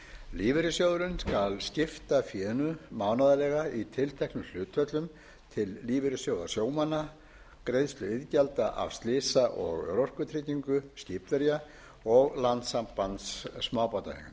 lífeyrissjóðurinn skal skipta fénu mánaðarlega í tilteknum hlutföllum til lífeyrissjóða sjómanna greiðslu iðgjalda af slysa og örorkutryggingu skipverja og landssambands smábátaeigenda